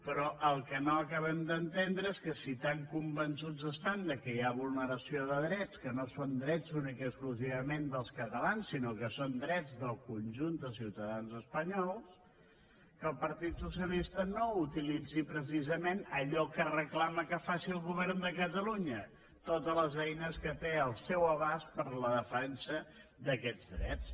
però el que no acabem d’entendre és que si tan convençuts estan que hi ha vulneració de drets que no són drets únicament i exclusivament dels catalans sinó que són drets del conjunt dels ciutadans espanyols el partit socialista no utilitzi precisament allò que reclama que faci el govern de catalunya totes les eines que té al seu abast per a la defensa d’aquests drets